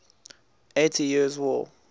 eighty years war